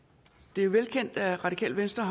det er velkendt at radikale venstre